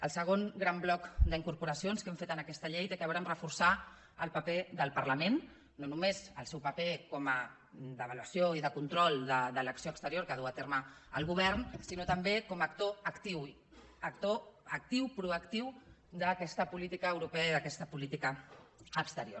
el segon gran bloc d’incorporacions que hem fet en aquesta llei té a veure amb reforçar el paper del parlament no només el seu paper d’avaluació i de control de l’acció exterior que du a terme el govern sinó també com a actor actiu actor actiu proactiu d’aquesta política europea i d’aquesta política exterior